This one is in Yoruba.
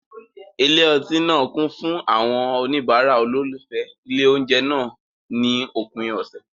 Ilé ọtí náà kún fún àwọn oníbàárà olólùfẹ́ ilé oúnjẹ náà ní òpin ọ̀sẹ̀.